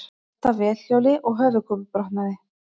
Datt af vélhjóli og höfuðkúpubrotnaði